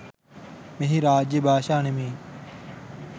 මෙහි රාජ්‍ය භාශා නෙමෙයි.